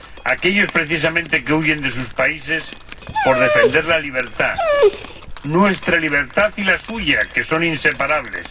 aquellos, precisamente, que huyen de sus países por defender la libertad nuestra libertad y la suya, que son inseparables.